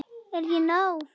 Er ég nóg!